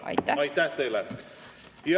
Aitäh teile!